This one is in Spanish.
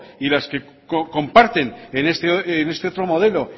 y las que comparten en este otro modelo